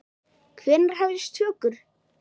Hvenær hefjast tökur?